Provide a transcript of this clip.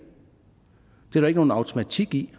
er der ikke nogen automatik i